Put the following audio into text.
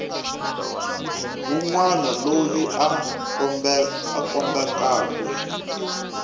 wun wana loyi a khumbekaku